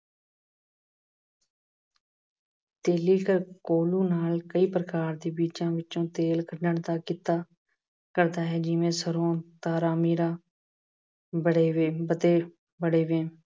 ਤੇਲੀ ਇੱਕ ਕੋਹਲੂ ਵਿੱਚੋਂ ਕਈ ਪ੍ਰਕਾਰ ਦੇ ਤੇਲ ਕੱਢਣ ਦਾ ਕਿੱਤਾ ਕਰਦਾ ਹੈ। ਜਿਵੇਂ- ਸਰ੍ਹੋਂ, ਤਾਰਾਮੀਰਾ, ਬੜੇਵੇਂ ਅਤੇ ਬੜੇਵੇਂ ਅਹ